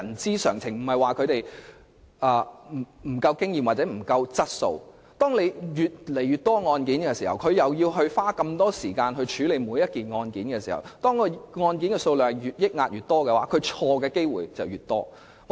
當裁判官須處理的案件越來越多，而每宗案件也要花費大量時間處理，再加上積壓的案件數量日益增加，裁判官犯錯的機會亦自然大增。